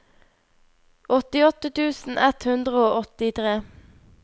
åttiåtte tusen ett hundre og åttitre